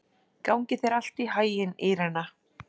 Gangi þér allt í haginn, Írena.